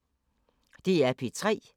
DR P3